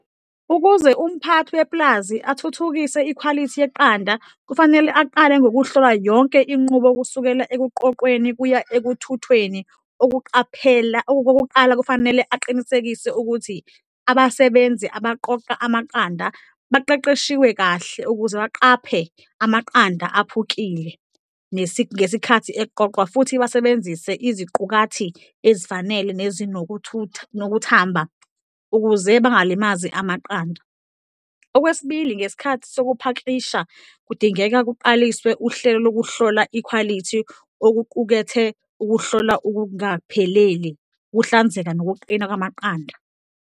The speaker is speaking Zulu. Ukuze umphathi wepulazi athuthukise ikhwalithi yeqanda, kufanele aqale ngokuhlola yonke inqubo, kusukela ekuqoqweni kuya ekuthuthweni. Ukuqaphela, okokuqala kufanele aqinisekise ukuthi abasebenzi abaqoqa amaqanda baqeqeshiwe kahle ukuze baqaphe amaqanda aphukile ngesikhathi eqoqwa futhi basebenzise iziqukathi ezifanele nezinokuthutha nokuthamba, ukuze bangalimazani amaqanda. Okwesibili, ngesikhathi sokuphakisha, kudingeka kuqaliswe uhlelo lokuhlola ikhwalithi okuqukethe ukuhlola ukungapheleli, ukuhlanzeka nokuqina kamaqanda.